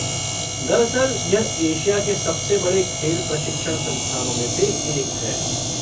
दरअसल यह एशिया के सबसे बड़े खेल प्रशिक्षण संस्थानों में से एक है।